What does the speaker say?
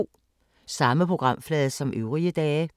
Samme programflade som øvrige dage